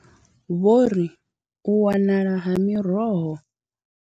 Vho ri u wanala ha miroho.